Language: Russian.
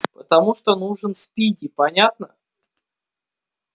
потому что нужен спиди понятно